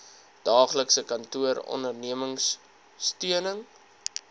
daaglikse kantoor ondersteunings